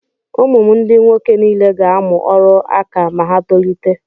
Ụmụ m ndị nwoke niile ga-amụ ọrụ aka ma ha tolite.